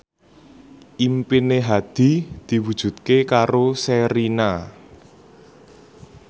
impine Hadi diwujudke karo Sherina